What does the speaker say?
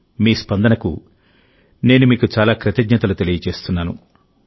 మీ స్పందనకు నేను మీకు చాలా కృతజ్ఞతలు తెలుపుతున్నాను